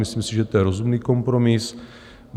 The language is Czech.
Myslím si, že je to rozumný kompromis.